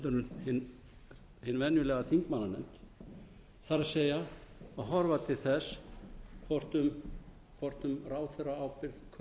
en hin venjulega þingmannanefnd það er að horfa til þess hvort um ráðherraábyrgð kunni að vera